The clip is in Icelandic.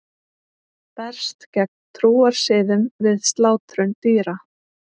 Berst gegn trúarsiðum við slátrun dýra